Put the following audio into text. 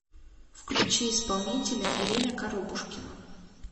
включи исполнителя ирина коробушкина